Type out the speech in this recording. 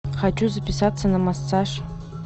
хочу записаться на массаж